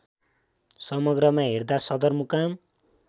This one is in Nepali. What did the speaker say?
समग्रमा हेर्दा सदरमुकाम